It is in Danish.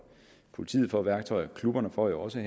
politiet får værktøjer og klubberne får jo også